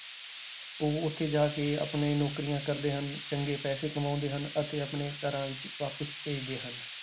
ਉਹ ਉੱਥੇ ਜਾ ਕੇ ਆਪਣੇ ਨੌਕਰੀਆਂ ਕਰਦੇ ਹਨ ਚੰਗੇ ਪੈਸੇ ਕਮਾਉਂਦੇ ਹਨ ਅਤੇ ਆਪਣੇ ਘਰਾਂ ਵਿੱਚ ਵਾਪਸ ਭੇਜਦੇ ਹਨ।